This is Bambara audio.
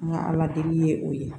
An ka ala deli ye o ye